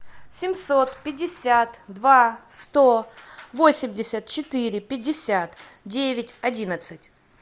семьсот пятьдесят два сто восемьдесят четыре пятьдесят девять одиннадцать